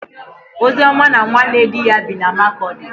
Ozioma na nwanne di ya bi na Makọdị.